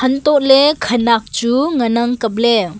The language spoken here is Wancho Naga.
antohoe khanak chu ngan ang kapley.